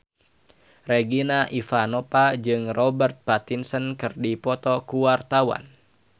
Regina Ivanova jeung Robert Pattinson keur dipoto ku wartawan